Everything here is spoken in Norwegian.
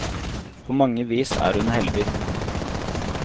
På mange vis er hun heldig.